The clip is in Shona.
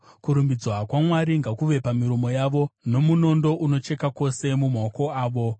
Kurumbidzwa kwaMwari ngakuve pamiromo yavo, nomunondo unocheka kwose, mumaoko avo,